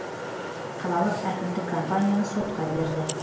қалалық әкімдік компанияны сотқа берді